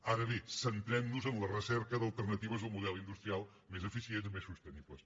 ara bé centrem nos en la recerca d’alternatives al model industrial més eficients i més sostenibles